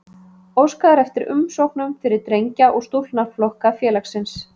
Óskað er eftir umsóknum fyrir drengja- og stúlknaflokka félagsins.